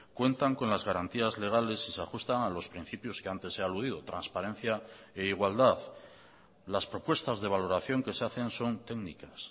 cuentan con las garantías legales y se ajustan a los principios que antes he aludido transparencia e igualdad las propuestas de valoración que se hacen son técnicas